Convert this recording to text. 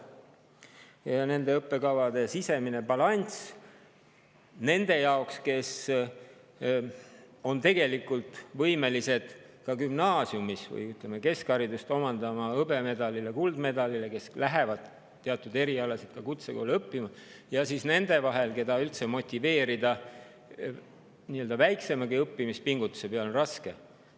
nende õppekavade puhul sisemist balanssi, kes on võimelised, ütleme, keskharidust omandades saama hõbemedali või kuldmedali, aga kes lähevad teatud erialasid kutsekooli õppima, ja ka neid, keda tuleb motiveerida nii-öelda väiksemagi õppimispingutuse tegemiseks, see on raske.